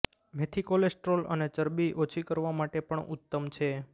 મેથી કોલેસ્ટ્રોલ અને ચરબી ઓછી કરવા માટે પણ ઉત્તમ છે